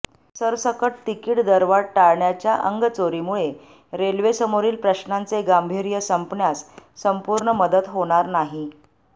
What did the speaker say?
सरसकट तिकीट दरवाढ टाळण्याच्या अंगचोरीमुळे रेल्वेसमोरील प्रश्नाचे गांभीर्य संपण्यास संपूर्ण मदत होणार नाही